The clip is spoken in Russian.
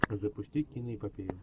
запустить киноэпопею